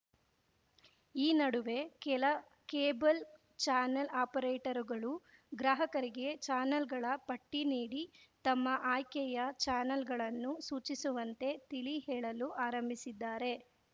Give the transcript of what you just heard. ಈ ನಡುವೆ ಕೆಲ ಕೇಬಲ್‌ ಚಾನೆಲ್‌ ಆಪರೇಟರುಗಳು ಗ್ರಾಹಕರಿಗೆ ಚಾನೆಲ್‌ಗಳ ಪಟ್ಟಿನೀಡಿ ತಮ್ಮ ಆಯ್ಕೆಯ ಚಾನೆಲ್‌ಗಳನ್ನು ಸೂಚಿಸುವಂತೆ ತಿಳಿಹೇಳಲು ಆರಂಭಿಸಿದ್ದಾರೆ